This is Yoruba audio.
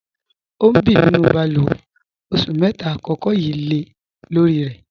Ọ n bí nínú bálúwè, ọṣù mẹ́ta àkọ̀kọ̀ yíí tì lẹ̀ lorì rẹ̀.